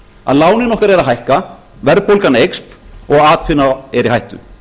að lánin okkar er að hækka verðbólga eykst og atvinna er í hættu